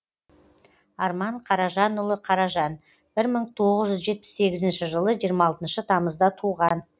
арман қаражанұлы қаражан бір мың тоғыз жүз жетпіс сегізінші жылы жиырма алтыншы тамызда туған